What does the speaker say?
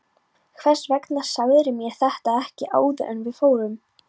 Hvers vegna sagðirðu mér þetta ekki áður en við fórum?